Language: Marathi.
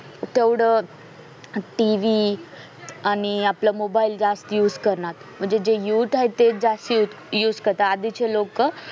तेवढ tv आणि आपला mobile जास्त used कारणात म्हणजे जे युथ तेच जास्त used म्हणजे जे आधी चे लोक